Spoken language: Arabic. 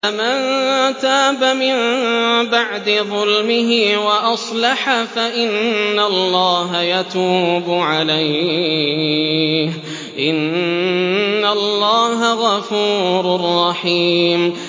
فَمَن تَابَ مِن بَعْدِ ظُلْمِهِ وَأَصْلَحَ فَإِنَّ اللَّهَ يَتُوبُ عَلَيْهِ ۗ إِنَّ اللَّهَ غَفُورٌ رَّحِيمٌ